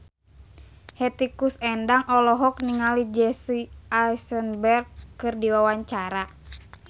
Hetty Koes Endang olohok ningali Jesse Eisenberg keur diwawancara